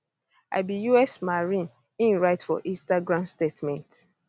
i be us marine im write for instagram statement